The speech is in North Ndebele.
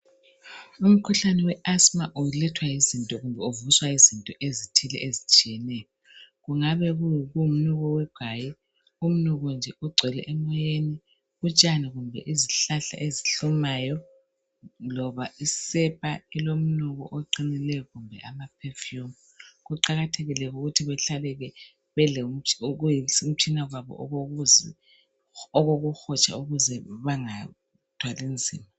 umkhuhlane we asthma ulethwa kumbe uvuswa yizinto ezithile ezitshiyeneyo kungabe kungumnuko wegwayi kungokuyi umnuko nje ogcwele emoyeni utshani kumbe izihlahla ezihlumayo loba isepa elomnuko oqinileyo kumbe ama perfum ukuthi behlale ke belomtshina wabo okokuhotsha ukuze bangathwali nzima